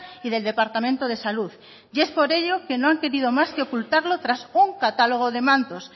y del departamento de salud y es por ello que no han querido más que ocultarlo tras un catálogo de mantos